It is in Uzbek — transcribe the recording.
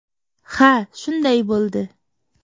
Ha, shunday bo‘ldi.